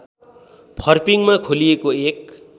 फर्पिङमा खोलिएको एक